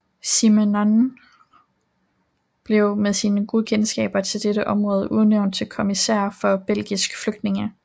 Simenon blev med sine gode kendskab til dette område udnævnt til kommissær for belgiske flygtninge